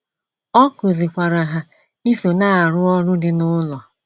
Ọ kụzikwaara ha iso na-arụ ọrụ dị n’ụlọ.